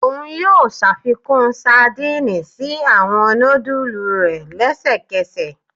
Oun yoo ṣafikun sadìnìnnì si awọn nudulu rẹ lẹsẹkẹsẹ